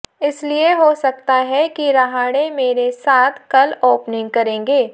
इसलिए हो सकता है कि रहाणे मेरे साथ कल ओपनिंग करेंगे